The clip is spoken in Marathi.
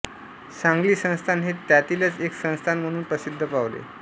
सांगली संस्थान हे त्यातीलच एक संस्थान म्हणून् प्रसिद्ध पावले